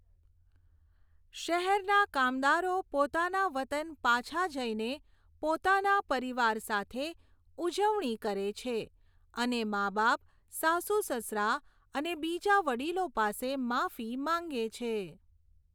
શહેરના કામદારો પોતાના વતન પાછા જઈને પોતાના પરિવાર સાથે ઉજવણી કરે છે અને માબાપ, સાસુ સસરા અને બીજા વડીલો પાસે માફી માંગે છે.